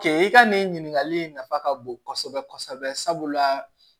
Kɛ i ka nin ɲininkali in nafa ka bon kosɛbɛ kosɛbɛ sabula